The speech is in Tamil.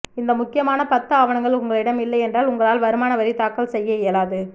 இந்த முக்கியமான பத்து ஆவணங்கள் உங்களிடம் இல்லையென்றால் உங்களால் வருமான வரி தாக்கல் செய்ய இயலாது